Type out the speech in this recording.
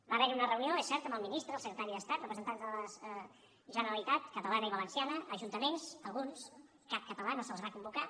va haverhi una reunió és cert amb el ministre el secretari d’estat representants de la generalitat catalana i valenciana ajuntaments alguns cap català no se’ls va convocar